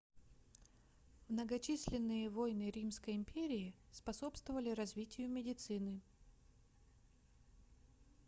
многочисленные войны римской империи способствовали развитию медицины